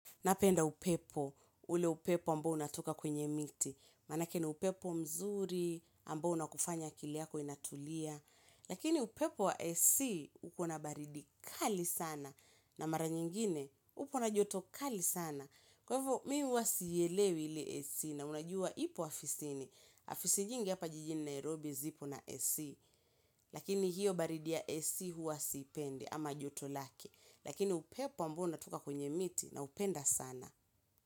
Napenda upepo, ule upepo ambo unatoka kwenye miti. Maanake ni upepo mzuri, ambao unakufanya akili yako inatulia. Lakini upepo wa AC, ukona baridi kali sana. Na mara nyingine, upo na joto kali sana. Kwa hivyo, mi huwa sielewi ili AC na unajua ipo afisini. Afisi nyingi hapa jijini Nairobi zipo na AC. Lakini hiyo baridi ya AC huwasipende ama joto lake. Lakini upepo ambao unatoka kwenye miti naupenda sana.